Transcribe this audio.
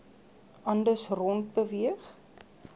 anders rond beweeg